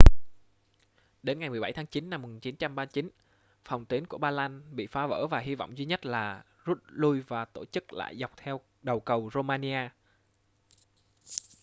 đến ngày 17 tháng chín năm 1939 phòng tuyến của ba lan bị phá vỡ và hy vọng duy nhất là rút lui và tổ chức lại dọc theo đầu cầu romania